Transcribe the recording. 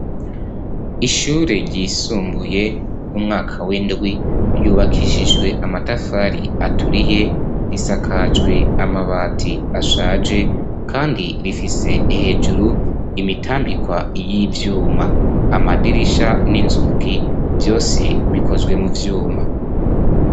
ishure ryisumbuye umwaka w'indwi yubakishijwe amatafari aturiye risakajwe amabati ashaje kandi rifise hejuru imitambika y'ivyuma amadirisha n'inzugi byose bikozwe mu vyuma